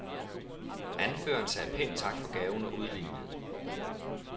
Anføreren sagde pænt tak for gaven og udlignede.